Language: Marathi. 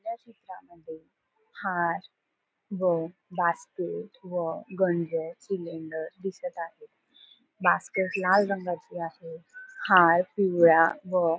या चित्रा मध्ये हार व बास्केट व सिलिंडर दिसत आहे बास्केट लाल रंगाची आहे हार पिवळ्या व --